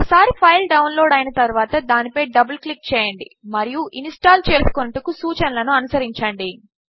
ఒకసారి file download అయిన తరువాత దానిపై డబల్ క్లిక్ చేయండి మరియు ఇన్స్టాల్ చేసుకొనుటకు సూచనలను అనుసరించండి